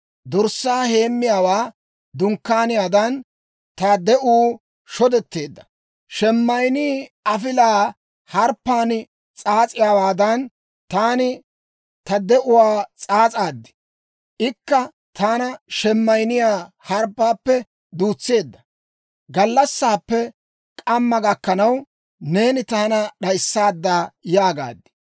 Dorssaa heemmiyaawaa dunkkaaniyaadan, ta de'uu shodetteedda. Sheemayinnii afilaa harbbaan s'aas'iyaawaadan, taani ta de'uwaa s'aas'aad; ikka taana shemayinniyaa harbbaappe duutseedda gallassaappe k'amma gakkanaw, neeni taana d'ayissaadda yaagaaddi.